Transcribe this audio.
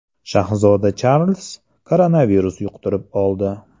Shahzoda Charlz koronavirus yuqtirib oldi.